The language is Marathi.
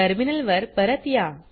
टर्मिनलवर परत या